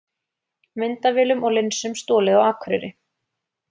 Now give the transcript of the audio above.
Myndavélum og linsum stolið á Akureyri